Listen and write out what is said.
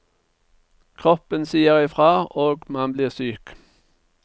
Kroppen sier i fra, og man blir syk.